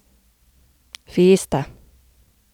Fiesta.